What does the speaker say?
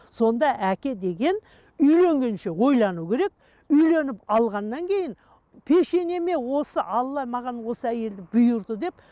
сонда әке деген үйленгенше ойлануы керек үйленіп алғаннан кейін пешенеме осы алла маған осы әйелді бұйырды деп